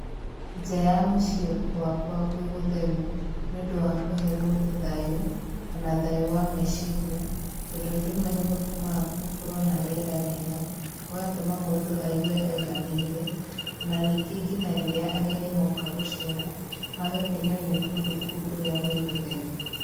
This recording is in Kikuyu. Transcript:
Nja ya mũciĩ gwakwa gwĩ gũtheru nĩ ũndũ wa kũhe mũndũ thayũ, o na thayũ wa meciria, tondũ rĩmwe nĩ gũtũmaga gũtũmaga gũkorwo na rĩera rĩega, gũgatũma mũndũ aigwe aiganĩire,o na ningĩ kinya rĩrĩa ageni moka gũceera, magakenio nĩ kũndũ kũu ũrĩa gwĩ gũtheru.